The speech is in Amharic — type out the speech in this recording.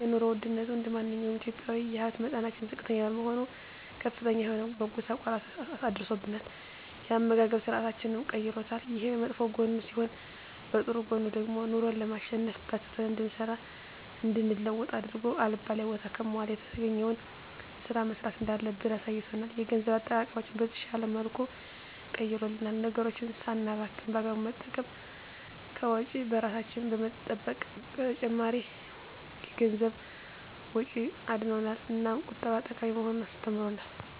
የኑሮ ወድነቱ እንደማንኛውም ኢትዮጵያዊ የሀብት መጠናችን ዝቅተኛ በመሆኑ ከፍተኛ የሆነ መጎሳቆል አድርሶብናል የአመጋገብ ስርአታችንንም ቀይሮታል። ይሄ በመጥፎ ጎኑ ሲሆን በጥሩ ጎኑ ደግሞ ኑሮን ለማሸነፍ በርትተን እንድንሰራ እንድንለወጥ አድርጎ አልባሌ ቦታ ከመዋል የተገኘዉን ስራ መስራት እንዳለብን አሳይቶናል። የገንዘብ አጠቃቀማችንን በተሻለ መልኩ ቀይሮልናል ነገሮችን ሳናባክን በአግባቡ በመጠቀም ከወጪ እራሳችንን በመጠበቅ ከተጨማሪ የገንዘብ ወጪ አድኖናል። እናም ቁጠባ ጠቃሚ መሆኑን አስተምሮናል።